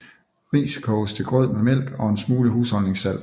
Ris koges til grød med mælk og en smule husholdningssalt